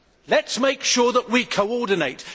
Let us make sure that we coordinate.